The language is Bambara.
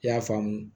I y'a faamu